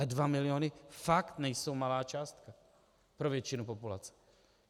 Ale dva miliony fakt nejsou malá částka pro většinu populace.